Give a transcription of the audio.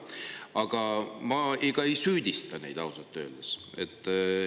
Aga ma ei süüdista neid ausalt öeldes.